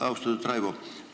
Austatud Raivo!